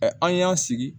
an y'an sigi